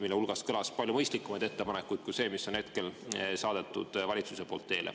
Nende hulgas kõlas palju mõistlikumaid ettepanekuid kui see, mis on saadetud valitsuse poolt teele.